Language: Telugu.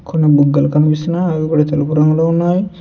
కొన్ని బుగ్గలు కనిపిస్తున్నాయి అవి కూడా తెలుపు రంగులో ఉన్నాయి.